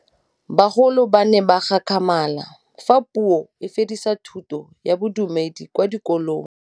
Bagolo ba ne ba gakgamala fa Pusô e fedisa thutô ya Bodumedi kwa dikolong.